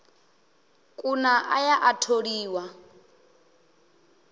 kuna a ya a tholiwa